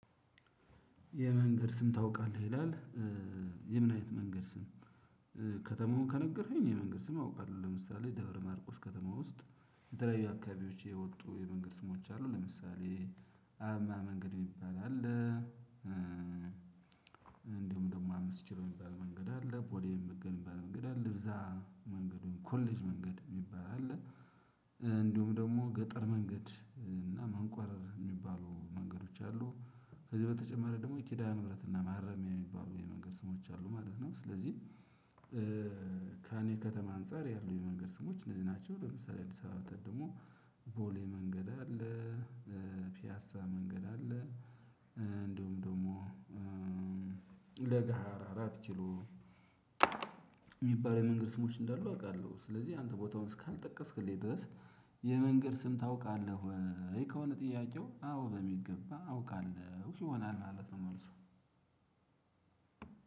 የመንገድ ስም ታውቃለህ ይላል? የምን አይነት መንገድ ስም? ከተማው ከነገርከኝ የመንገድ ስም አውቃለሁ ለምሳሌ ደብረ ማርቆስ ከተማ ውስጥ የተለያዩ አካባቢዎች የወጡ የመንገድ ስሞች አሉ ለምሳሌ አብማ መንገድ የሚባል አለ። እንዲሁም ደግሞ አምስት ኪሎ የሚባል መንገድ አለ ፖሊየን መንገድ የሚባል መንገድ አለ እዛ መንገዱን ኮሌጅ መንገድ የሚባል አለ። እንዲሁም ደግሞ ገጠር መንገድ እና መንቋረር የሚባሉ መንገዶች አሉ ከዚህ በተጨማሪ ደግሞ የኪዳኑ ምህረት እና ማረሚያ የሚባሉ የመንገድ ስሞች አሉ ማለት ነው። ስለዚህ ከእኔ ከተማ አንፃር ያሉ የመንገድ ስሞች እነዚህ ናቸው። ለምሳሌ አዲስ አበባ ወጥተን ደግሞ ቦሌ መንገድ አለ። ፒያሳ መንገድ አለ። እንደውም ደግሞ ለገሃራ አራት ኪሎ የሚባል የመንግስት ስሞች እንዳሉ አውቃለሁ። ስለዚህ አንተ ቦታውን እስካልጠቀስክልኝ ድረስ የመንገድ ስም ታውቃለህ?